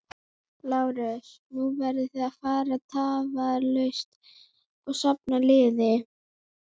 LÁRUS: Nú verðið þið að fara tafarlaust og safna liði.